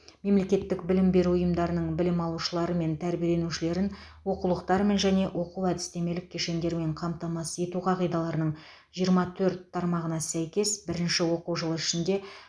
мемлекеттік білім беру ұйымдарының білім алушылары мен тәрбиеленушілерін оқулықтармен және оқу әдістемелік кешендермен қамтамасыз ету қағидаларының жиырма төрт тармағына сәйкес бірінші оқу жылы ішінде